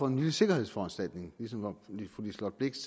en lille sikkerhedsforanstaltning ligesom fru liselott blixt